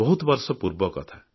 ବହୁତ ବର୍ଷ ତଳର କଥା